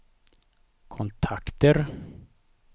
kontakter